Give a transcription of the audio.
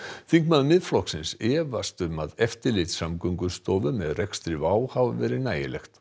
þingmaður Miðflokksins efast um að eftirlit Samgöngustofu með rekstri WOW air hafi verið nægilegt